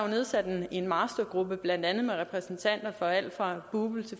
nedsat en mastergruppe blandt andet med repræsentanter fra alt lige fra bupl og